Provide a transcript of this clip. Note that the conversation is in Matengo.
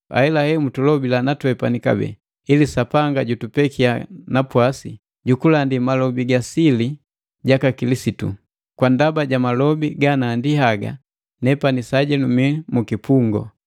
Ahelahe mutulobila na twepani kabee ili Sapanga jutupekiya napwasi ju kulandi malobi ga sili jaka Kilisitu. Kwa ndaba ja malobi ganandi haga nepani sajenu mii mu kipungu.